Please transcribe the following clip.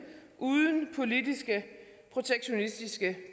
uden politiske protektionistiske